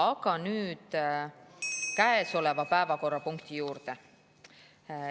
Aga nüüd käesoleva päevakorrapunkti juurde.